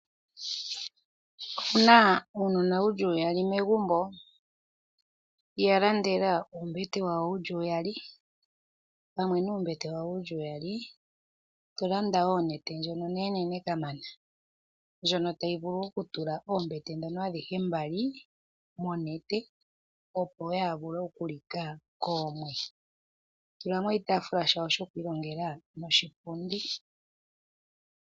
Owu na uunona wu li uyali megumbo? Ya landela uumbete wawo wu li uyali. Pamwe nuumbete wawo wu li uyali to landa wo onete ndjoka onenenene kamana, ndjono tayi vulu okutula oombete adhihe mbali monete, opo kaaya like koomwe. To tula mo oshitaafula shawo shokwiilongela noshipundi.